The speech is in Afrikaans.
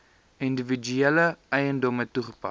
individuele eiendomme toegepas